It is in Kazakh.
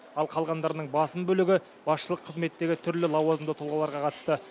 ал қалғандарының басым бөлігі басшылық қызметтегі түрлі лауазымды тұлғаларға қатысты